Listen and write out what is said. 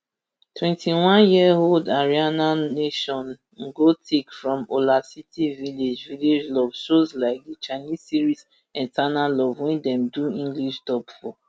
twenty-one yearold ariana nation ngotiek from olasiti village village love shows like di chinese series eternal love wey dem do english dub for